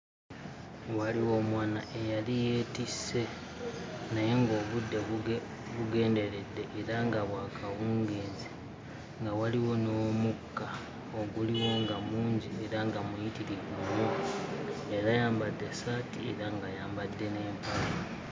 Waliwo omwana eyali yeetisse naye ng'obudde bugenderedde era nga bwa kawungeezi nga waliwo n'omukka oguliwo nga mungi era nga muyiturivu nnyo. Yali ayambadde essaati era ng'ayambadde n'empale.